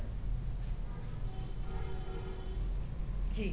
ਜੀ